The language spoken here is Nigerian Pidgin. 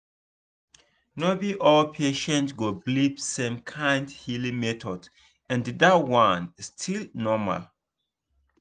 no be all patients go believe same kind healing method and dat one still normal.